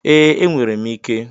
Ee, enwere m ike.